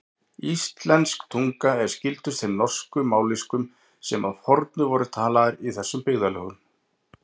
Íslensk tunga er skyldust þeim norsku mállýskum sem að fornu voru talaðar í þessum byggðarlögum.